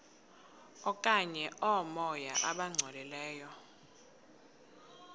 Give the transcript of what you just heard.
okanye oomoya abangcolileyo